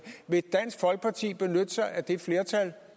vil dansk folkeparti benytte sig af det flertal